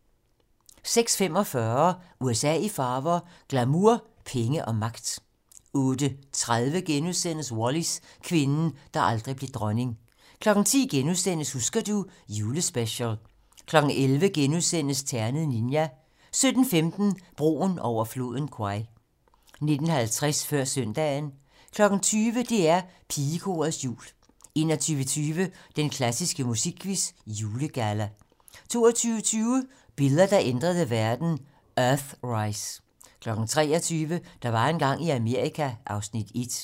06:45: USA i farver - glamour, penge og magt 08:30: Wallis - kvinden, der aldrig blev dronning * 10:00: Husker du ... julespecial * 11:00: Ternet Ninja * 17:15: Broen over floden Kwai 19:50: Før søndagen 20:00: DR Pigekorets Jul 21:20: Den klassiske musikquiz - Julegalla 22:20: Billeder, der ændrede verden: Earthrise 23:00: Der var engang i Amerika (Afs. 1)